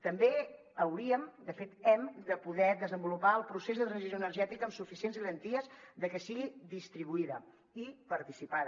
també hauríem de fet hem de poder desenvolupar el procés de transició energètica amb suficients garanties de que sigui distribuïda i participada